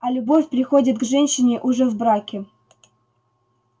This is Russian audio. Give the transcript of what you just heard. а любовь приходит к женщине уже в браке